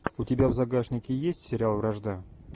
у тебя в загашнике есть сериал вражда